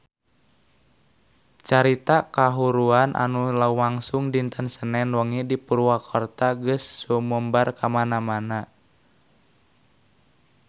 Carita kahuruan anu lumangsung dinten Senen wengi di Purwakarta geus sumebar kamana-mana